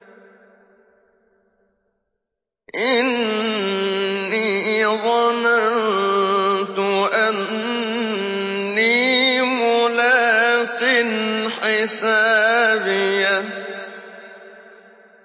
إِنِّي ظَنَنتُ أَنِّي مُلَاقٍ حِسَابِيَهْ